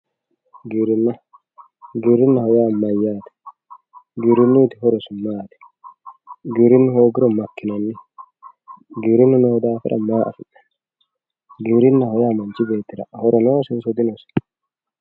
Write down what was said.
Giwirinna giwirinaho yaa mayate giwirinuyiti horosi maat giwirinu hoogiro makinani giwirinu noo dafira maa afinani giwirinaho yaa manchi betira horo noosinsi dinosi.